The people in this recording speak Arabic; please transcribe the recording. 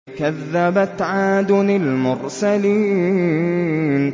كَذَّبَتْ عَادٌ الْمُرْسَلِينَ